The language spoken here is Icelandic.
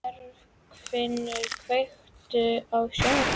Bergfinnur, kveiktu á sjónvarpinu.